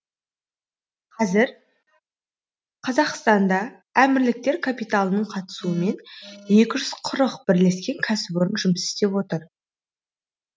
қазір қазақстанда әмірліктер капиталының қатысуымен екі жүз қырық бірлескен кәсіпорын жұмыс істеп тұр